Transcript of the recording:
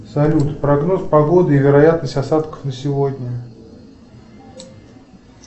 салют прогноз погоды и вероятность осадков на сегодня